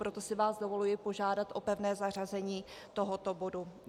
Proto si vás dovoluji požádat o pevné zařazení tohoto bodu.